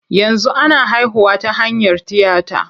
Yanzu ana haihuwa ta hanyar tiyata.